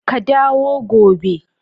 Ka dawo gobe.